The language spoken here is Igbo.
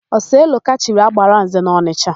Oseloka chiri, Agbalanze n'Ọnịsha.